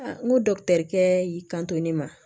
n ko kɛ y'i kanto ne ma